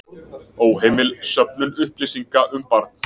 Óheimil söfnun upplýsinga um barn